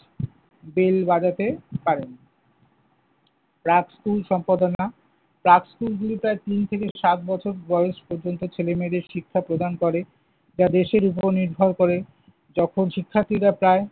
bell বাজাতে পারেন। রাজকুল সম্পাদনা, রাজকুলগুলো প্রায় তিন থেকে সাত বছর বয়স পর্যন্ত ছেলেমেয়েদের শিক্ষা প্রদান করে। যা দেশের উপর নির্ভর করে। যখন শিক্ষার্থীরা প্রায়